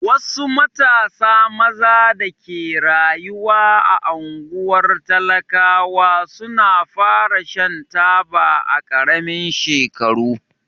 Wasu matasa maza da ke rayuwa a unguwar talakawa su na fara Shan taba a karamin shekaru.